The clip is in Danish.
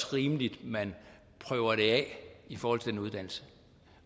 rimeligt at man prøver det af i forhold til den uddannelse